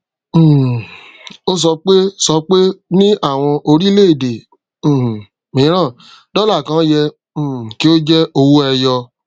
um o sọpe sọpe ni àwọn orílẹ èdè um miran dola kàn yẹ um kí o je owó ẹyọ